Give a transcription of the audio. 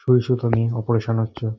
সুই সুতা নিয়ে অপারেশন হচ্ছে।